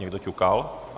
Někdo ťukal?